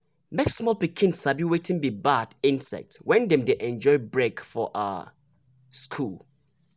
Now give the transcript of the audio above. make small pikin sabi wetin be bad insect when dem dey enjoy break for um school.